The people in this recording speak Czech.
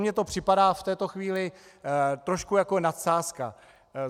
Mně to připadá v této chvíli trošku jako nadsázka.